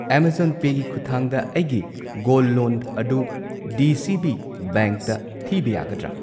Amazon ꯄꯦꯒꯤ ꯈꯨꯊꯥꯡꯗ ꯑꯩꯒꯤ ꯒꯣꯜꯗ ꯂꯣꯟ ꯑꯗꯨ ꯗꯤ ꯁꯤ ꯕꯤ ꯕꯦꯡꯛꯇ ꯊꯤꯕ ꯌꯥꯒꯗ꯭ꯔꯥ?